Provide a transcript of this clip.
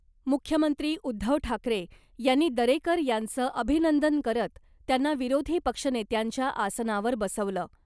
मुख्यमंत्री उद्धव ठाकरे यांनी दरेकर यांचं अभिनंदन करत , त्यांना विरोधी पक्षनेत्यांच्या आसनावर बसवलं .